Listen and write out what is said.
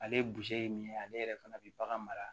Ale ye min ye ale yɛrɛ fana bɛ bagan mara